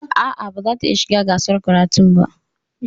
A'a, ba zata iya shiga gasar karatun ba.